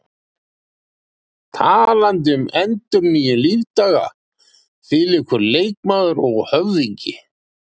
Talandi um endurnýjun lífdaga, þvílíkur leikmaður og höfðingi!